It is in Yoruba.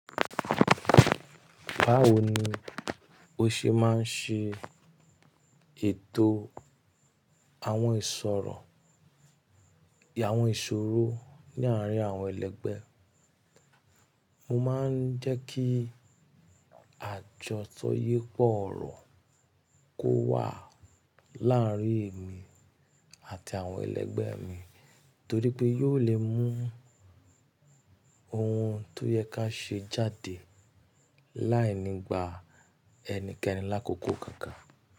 Báwo ni o ṣe máa ń ṣe, ètò àwọn ìṣòro, àwọn ìṣòro ní àárín àwọn ẹlẹgbẹ́ e? Mo máa ń jẹ́ kí àjọ tó yẹ kó ọ̀rọ̀ kó wà láàárín èmi àti àwọn ẹlẹgbẹ́ mi, torí pé yóò lè mú ohun tó yẹ ká ṣe jáde láì nígbà ẹnikẹni lákòókò kankan.